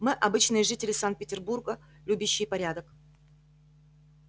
мы обычные жители санкт-петербурга любящие порядок